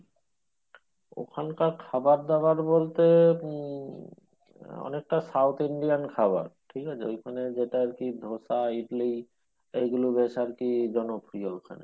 ওখানকার খাবার দাবার বলতে উম অনেকটা south indian খাবার ঠিক আছে ঐখানে যেটা আরকি ধোসা ইডলি এইগুলো বেশ আরকি জনপ্রিয়